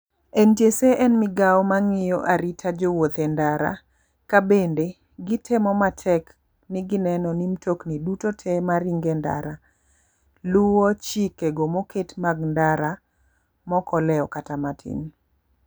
NTSA en migao mang'iyo arito jowuoth endara ka bende gi temo matek ni gi neno ni mtokni duto te maringo e ndara luwo chikego moketi mag ndara ma ok olewo kata matin.